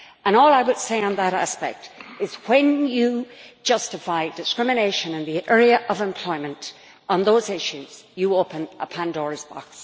All I would say on that aspect is that, when you justify discrimination in the area of employment on those issues, you open a Pandora's box.